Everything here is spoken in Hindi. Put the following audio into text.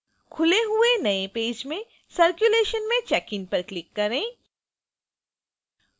खुले हुए नए पेज में circulation में check in पर click करें